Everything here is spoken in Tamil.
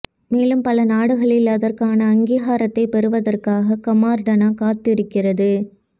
மேலும் பல நாடுகளில் அதற்கான அங்கீகாரத்தை பெறுவதற்காக கமாடர்னா காத்திருக்கிறது